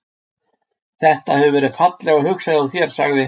Þetta. hefur verið fallega hugsað hjá þér- sagði